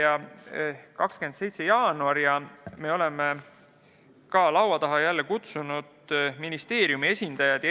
On 27. jaanuar ja me oleme laua taha jälle kutsunud ministeeriumi esindajad.